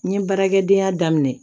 N ye baarakɛdenya daminɛ